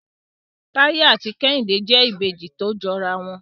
Taye ati kehinde jẹ Ìbejì to jọ ara wọn.